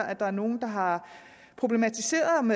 at der er nogle der har problematiseret om